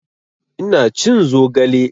Ina cin zogale